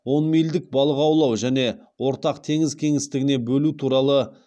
он мильдік балық аулау және ортақ теңіз кеңістігіне бөлу туралы